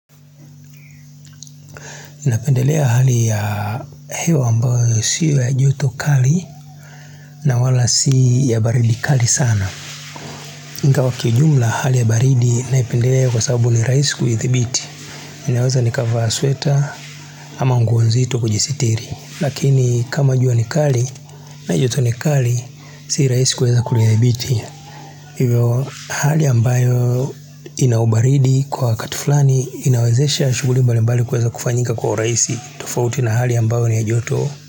Inapendelea hali ya heo ambayo siwa joto karli na wala si ya baridi kali sana Inga wakijumla hali ya baridi naipendelea kwa sababu ni raisi kuithibiti inaweza nikavaa sweta ama nguo nzito kujisitiri Lakini kama jua ni kari na joto ni kari si raisi kuweza kulihibiti Hali ambayo inaubaridi kwa katuflani inawezesha shuguli mbalimbali kuweza kufanyika kwa raisi tofauti na hali ambayo ni ya joto.